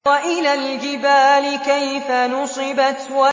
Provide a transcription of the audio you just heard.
وَإِلَى الْجِبَالِ كَيْفَ نُصِبَتْ